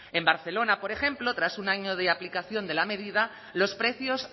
en barcelona por ejemplo tras un año de aplicación de la medida los precios